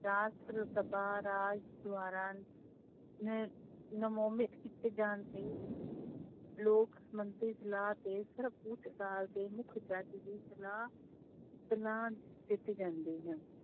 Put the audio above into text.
ਰਾਸ਼ਟਰ ਸਭਾ ਰਾਜ ਦੁਆਰਾ ਕੀਤੇ ਜਾਣ ਤੇ ਲੋਕ ਮੰਤਰੀ ਸਲਾਹ ਤੇ ਸਰਵ ਉੱਚ ਅਦਾਲਤ ਦੇ ਮੁੱਖ ਜੱਜ ਦੀ ਸਲਾਹ, ਸਲਾਹ ਦਿੱਤੀ ਜਾਂਦੀ ਹੈ।